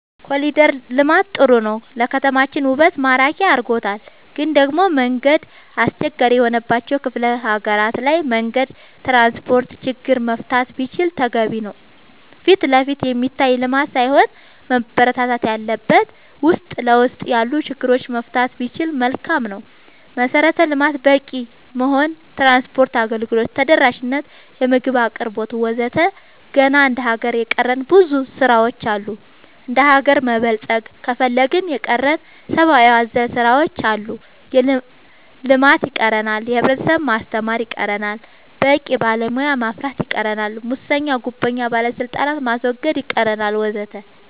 ኮሊደር ልማት ጥሩ ነው ለከተማችን ውበት ማራኪ አርጎታል ግን ደሞ መንገድ አስቸጋሪ የሆነባቸው ክፍለ ሀገራት ላይ መንገድ ትራንስፖርት ችግር መፈታት ቢችል ተገቢ ነው ፊትለፊት የሚታይ ልማት ሳይሆን መበረታታት ያለበት ውስጥ ለውስጥ ያሉ ችግሮች መፍታት ቢቻል መልካም ነው መሰረተ ልማት በቂ መሆን ትራንስፓርት አገልግሎት ተደራሽ ነት የምግብ አቅርቦት ወዘተ ገና እንደ ሀገር የቀረን ብዙ ስራ ዎች አሉ እንደሀገር መበልፀግ ከፈለግን የቀረን ሰባአዊ አዘል ስራዎች አሉ ልማት ይቀረናል የህብረተሰብ ማስተማር ይቀረናል በቂ ባለሙያ ማፍራት ይቀረናል ሙሰኛ ጉቦኛ ባለስልጣናት ማስወገድ ይቀረናል ወዘተ